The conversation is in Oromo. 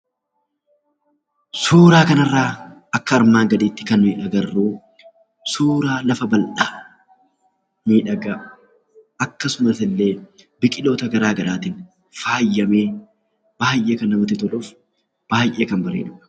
Suuraa kanarraa akka armaan gadiitti kan nuyi agarru suuraa lafa bal'aa, miidhagaa akkasumas illee biqiloota garaa garaatiin faayamee baay'ee kan namatti toluuf baay'ee kan bareedudha!